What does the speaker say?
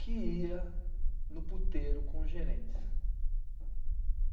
que ia no puteiro com os gerentes.